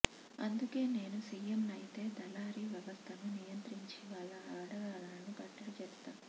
అందుకే నేను సీఎంనైతే దళారీ వ్యవస్థను నియంత్రించి వాళ్ల ఆగడాలను కట్టడి చేస్తా